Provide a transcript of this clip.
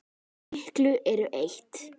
Svo miklu eru eytt.